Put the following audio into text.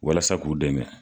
Walasa k'u dɛmɛ